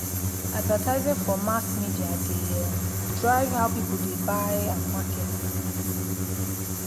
advertising for mass media dey um drive how people dey buy and market. um